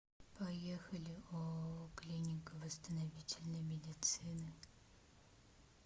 поехали ооо клиника восстановительной медицины